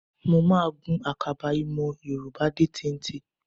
Mo máa gun àkàbà ìmọ̀ Yorùbá dé téńté